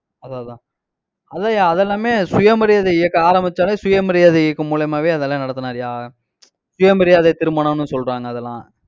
அதான் அதான் அதான்யா அதெல்லாமே சுயமரியாதை இயக்கம் ஆரம்பிச்சாலே சுயமரியாதை இயக்கம் மூலியமாவே அதெல்லாம் நடத்துனார்யா சுயமரியாதை திருமணம்னு சொல்றாங்க அதெல்லாம்